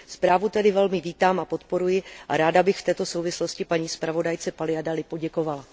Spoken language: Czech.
Zprávu tedy velmi vítám a podporuji a ráda bych v této souvislosti paní zpravodajce Paliadeliové poděkovala.